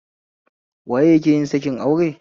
Waye ya keyin sakin aure?